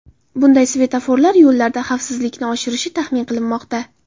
Bunday svetoforlar yo‘llarda xavfsizlikni oshirishi taxmin qilinmoqda.